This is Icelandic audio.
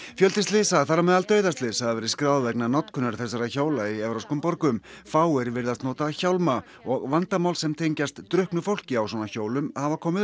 fjöldi slysa þar á meðal dauðaslys hafa verið skráð vegna notkunar þessara hjóla í evrópskum borgum fáir virðast nota hjálma og vandamál sem tengjast drukknu fólki á svona hjólum hafa komið